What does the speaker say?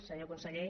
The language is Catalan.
senyor conseller